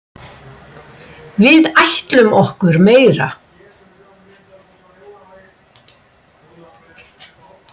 Við ætlum okkur meira.